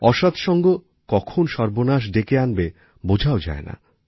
অসৎ সঙ্গ কখন সর্বনাশ ডেকে আনবে বোঝাও যায় না